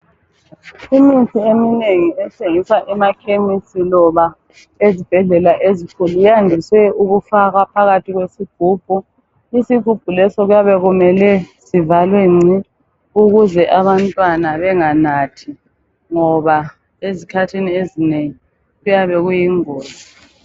Imithi eminengi ethengiswa emakhemisi loba ezibhedlela ezinkulu. Yandise ukufakwa phakathi kwesigubhu. Isigubhu leso kuyabe kumele sivalwe ngci, ukuze abantwana benganathi, ngoba izikhathini ezinengi kuyabe kuyingozi.